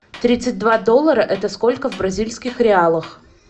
тридцать два доллара это сколько в бразильских реалах